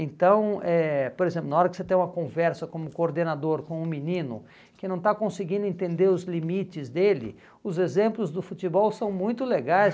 Então, eh por exemplo, na hora que você tem uma conversa como coordenador com um menino que não está conseguindo entender os limites dele, os exemplos do futebol são muito legais.